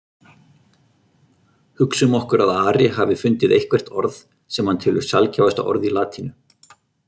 Hugsum okkur að Ari hafi fundið eitthvert orð sem hann telur sjaldgæfasta orð í latínu.